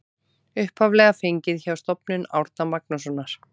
Upphaflega fengið hjá Stofnun Árna Magnússonar.